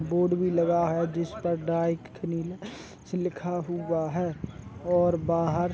board भी लगा है जिस पर डाइट क्री सी लिखा हुआ है और बाहर --